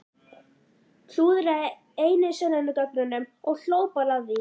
Klúðraði einu sönnunargögnunum og hló bara að því!